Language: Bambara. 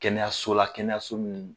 Kɛnɛyaso la kɛnɛyaso min